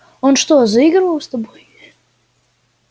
он что заигрывал с тобой